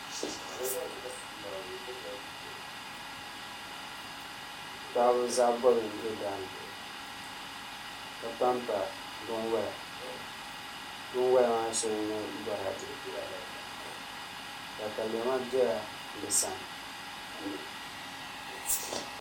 Paɣaba zaɣ bobli n bɛ daani ka panpa binwola binwola maa shɛŋa n nyɛ boraadɛ katalɛma biɛla bi sani